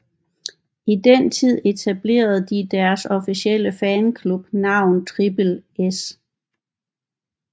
I den tid etablerede de deres officielle fanklub navn Trippel S